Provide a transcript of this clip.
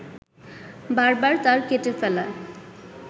বারবার তার কেটে ফেলা